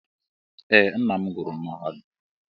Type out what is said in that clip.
Ee, nnam gụrụ mahadum.